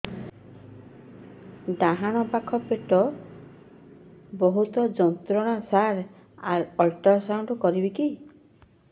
ଡାହାଣ ପାଖ ପେଟ ସାର ବହୁତ ଯନ୍ତ୍ରଣା ସାର ଅଲଟ୍ରାସାଉଣ୍ଡ କରିବି କି